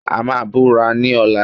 A máa búra ní ọ̀la